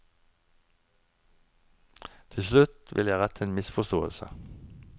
Til slutt vil jeg rette en misforståelse.